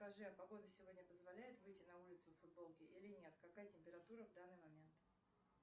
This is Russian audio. скажи а погода сегодня позволяет выйти на улицу в футболке или нет какая температура в данный момент